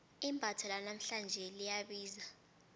imbatho lanamhlanje liyabiza